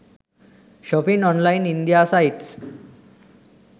shopping online india sites